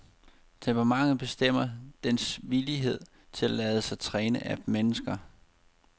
Temperamentet bestemmer dens villighed til at lade sig træne af mennesker.